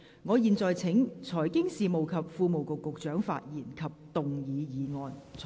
我現在請財經事務及庫務局局長發言及動議議案。